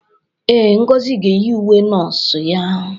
Ee, Ngozi ga-eyi uwe nọọsụ ya.